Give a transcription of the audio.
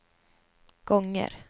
gånger